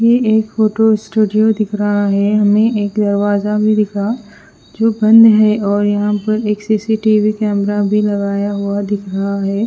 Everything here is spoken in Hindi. यह एक फोटो स्टूडियो दिख रहा है। हमें एक दरवाजा भी दिखा जो बंद है और यहां पर एक सी_सी_टी_वी कैमरा भी लगाया हुआ दिख रहा हैं।